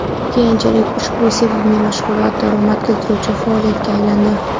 Keyinchalik ushbu sevimli mashg‘ulot daromad keltiruvchi faoliyatga aylandi”.